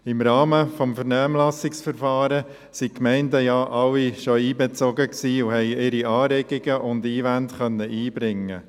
Im Rahmen des Vernehmlassungsverfahrens wurden alle Gemeinden einbezogen und konnten ihre Anregungen und Einwände einbringen.